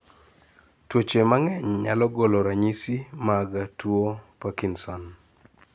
tuoche mahg'eny nyalo golo ranyiso mag tuo parkinson